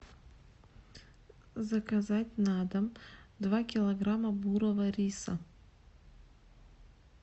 заказать на дом два килограмма бурого риса